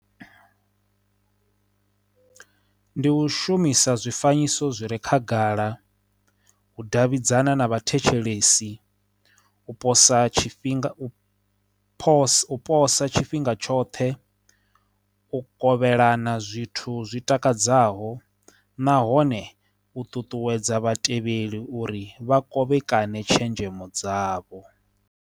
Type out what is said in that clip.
Ndi u shumisa zwifanyiso zwi re khagala u davhidzana na vhathetshelesi u posa tshifhinga phosphorus posa tshifhinga tshoṱhe u kovhelana zwithu zwi takadzaho nahone u ṱuṱuwedza vhatevheli uri vha kovhekane tshenzhemo dzavho.